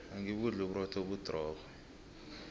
angibudli uburotho obudrorho